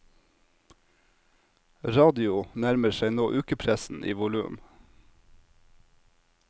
Radio nærmer seg nå ukepressen i volum.